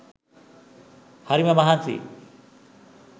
හරිම මහන්සියි